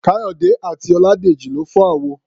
Káyọ̀dé àti Ọládèjì lọ fọ́ àwo.